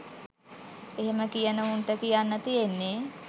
එහෙම කියන උන්ට කියන්න තියෙන්නෙ